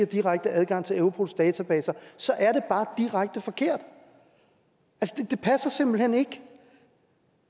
direkte adgang til europols databaser så er det bare direkte forkert det passer simpelt hen ikke